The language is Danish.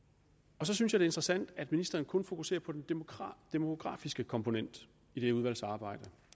så synes jeg interessant at ministeren kun fokuserer på den demografiske komponent i det udvalgsarbejde